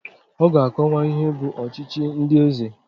Ọ ga-akọwa ihe bụ ọchịchị ndị eze?